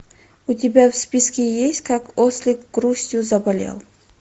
у тебя в списке есть как ослик грустью заболел